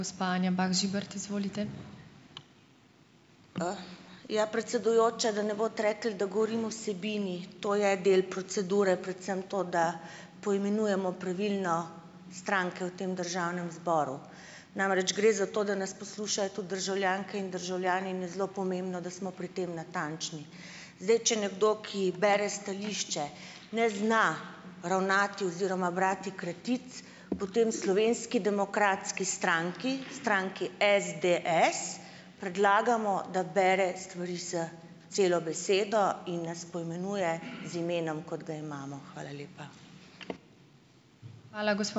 Ja, predsedujoča, da ne boste rekli, da govorim o vsebini. To je del procedure, predvsem to, da poimenujemo pravilno stranke v tem državnem zboru. Namreč, gre za to, da nas poslušajo tudi državljanke in državljani in je zelo pomembno, da smo pri tem natančni. Zdaj, če nekdo, ki bere stališče, ne zna ravnati oziroma brati kratic, potem v Slovenski demokratski stranki, stranki SDS, predlagamo, da bere stvari s celo besedo in nas poimenuje z imenom, kot ga imamo. Hvala lepa.